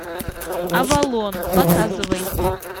авалон показывай